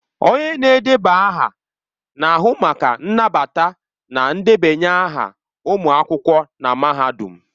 Onye na-edeba aha na-ahụ maka nnabata na ndebanye aha ụmụ akwụkwọ na mahadum.